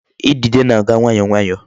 Idide na-aga nwayọọ nwayọọ.